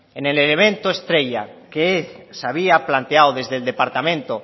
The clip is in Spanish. en el elemento estrella que se había planteado desde el departamento